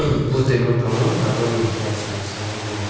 bwti ma tongo abo ni samsakebo.